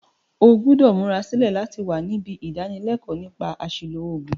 O gbúdò múra sílẹ̀ láti wa nibí ìdánilékóò nípa àsìlò ògùn